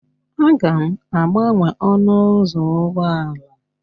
A ga-agbanwe ọnụ ụzọ ụgbọala